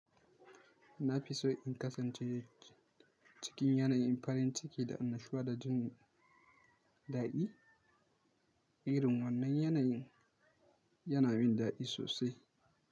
Na fi so in kasance cikin yanayin farin ciki da annashuwa da jin daɗi. Irin wannan yanayin yana min daɗi sosai.